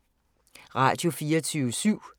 Radio24syv